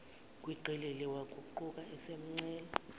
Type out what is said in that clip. gwiqiqi waguquka esemcela